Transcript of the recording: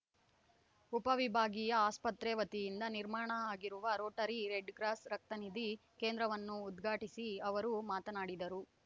ಉಪವಿಭಾಗೀಯ ಆಸ್ಪತ್ರೆ ವತಿಯಿಂದ ನಿರ್ಮಾಣ ಆಗಿರುವ ರೋಟರಿ ರೆಡ್‌ ಕ್ರಾಸ್‌ ರಕ್ತನಿಧಿ ಕೇಂದ್ರವನ್ನು ಉದ್ಘಾಟಿಸಿ ಅವರು ಮಾತನಾಡಿದರು